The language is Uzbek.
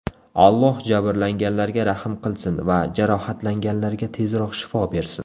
Alloh jabrlanganlarga rahm qilsin va jarohatlanganlarga tezroq shifo bersin.